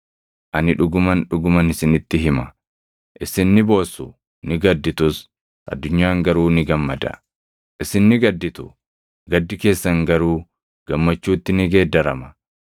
Ani dhuguman, dhuguman isinitti hima; isin ni boossu; ni gadittus. Addunyaan garuu ni gammada. Isin ni gadditu; gaddi keessan garuu gammachuutti ni geeddarama.